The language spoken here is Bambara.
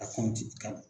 A ka na